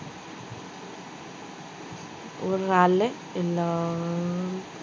ஒரு நாளு இன்னும்